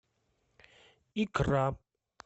икра